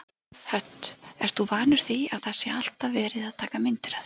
Hödd: Ert þú vanur því að það sé alltaf verið að taka myndir af þér?